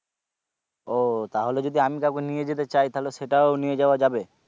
ও তাহলে যদি আমি কাউকে নিয়ে যেতে চাই তাহলে সেটাও নিয়ে যাওয়া যাবে?